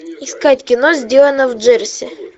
искать кино сделано в джерси